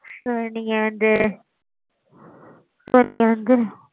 sir நீங்க வந்து. so நீங்க வந்து.